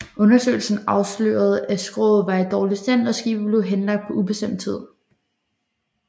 Undersøgelserne afslørede at skroget var i dårlig stand og skibet blev henlagt på ubestemt tid